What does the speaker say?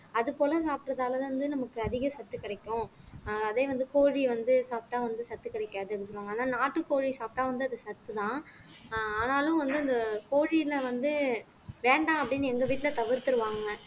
அது போல சாப்பிடறதாலதான் வந்து நமக்கு அதிக சத்து கிடைக்கும் ஆஹ் அதே வந்து கோழி வந்து சாப்பிட்டா வந்து சத்து கிடைக்காது அப்படின்னு சொல்லுவாங்க ஆனா நாட்டுக்கோழி சாப்பிட்டா வந்து அது சத்துதான் ஆஹ் ஆனாலும் வந்து இந்த கோழில வந்து வேண்டாம் அப்படின்னு எங்க வீட்டுல தவிர்த்திருவாங்கங்க